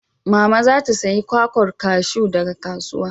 Mama za ta saya kwakwar kaju daga kasuwa.